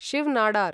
Shiv Nadar